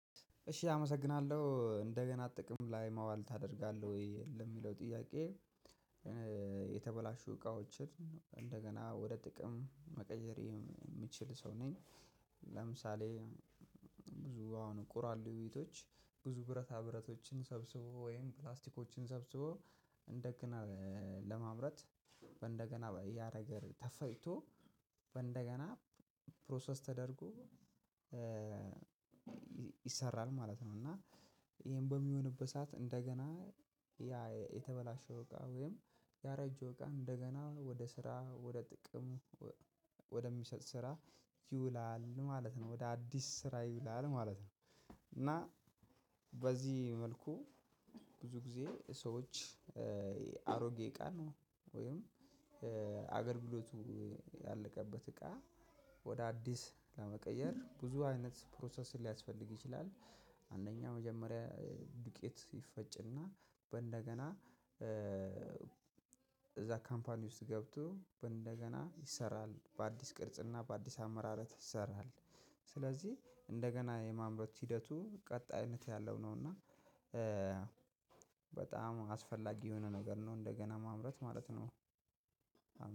እሺ አመሰግናለሁ እንደገና ጥቅም ላይ ማዋል ታደርጋለህ ወይ ለሚለው ጥያቄ? የተበላሹ እቃዎችን እንደገና ወደ ጥቅም መቀየር የምችል ሰው ነኝ። ለምሳሌ ብዙ አሁን ቁራሌ ቤቶች ብዙ ብረታ ብረቶችን ሰብስቦ ወይም ፕላስቲኮችን ሰብስቦ እንደገና ለማምረት በእንደገና ያነገር ተፈጭቶ በእንደገና ፕሮሰስ ተደርጎ። ይሰራል ማለት ነው። እና ይሄን በሚሆንበት ሰዓት እንደገና ያ የተበላሸው እቃ ወይም ያረጀው እቃ እንደገና ወደ ስራ ወደ ጥቅሙ ወደሚሰጥ ስራ ይውላል ማለት ነው ወደ አዲስ ስራ ይውላል ማለት ነው። እና በዚህ መልኩ ብዙ ጊዜ ሰዎች አሮጌ እቃ ነው ወይም አገልግሎቱ ያለቀበት እቃ ወደ አዲስ ለመቀየር ብዙ አይነት ፕሮሰስ ሊያስፈልግ ይችላል። አንደኛ መጀመሪያ ዱቄት ይፈጭና በእንደገና እዛ ካምፓኒ ውስጥ ገብቶ እንደገና ይሰራል በአዲስ ቅርጽና በአዲስ አመራረት ይሰራል። ስለዚህ እንደገና የማምረት ሂደቱ ቀጣይነት ያለው ነውና። በጣም አስፈላጊ የሆነ ነገር ነው እንደገና ማምረት ማለት ነው።